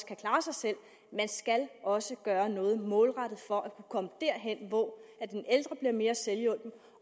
kan klare sig selv man skal også gøre noget målrettet for at kunne komme derhen hvor den ældre bliver mere selvhjulpen